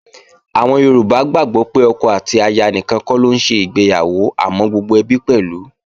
Àwọn Yorùbá gbàgbó pé ọkọ àti aya nìkan kọ́ ló ń ṣègbéyàwó àmọ́ gbogbo ẹbí pẹ̀lú